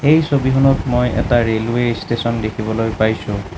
এই ছবিখনত মই এটা ৰেলৱে ষ্টেচন দেখিবলৈ পাইছোঁ।